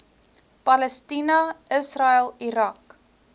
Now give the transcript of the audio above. palestina israel irak